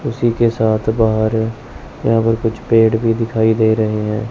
उसी के साथ बाहर यहां पर कुछ पेड़ भी दिखाई दे रहे हैं।